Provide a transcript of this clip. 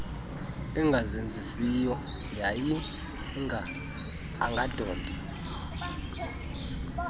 engazenzisiyo yayinga angadontsa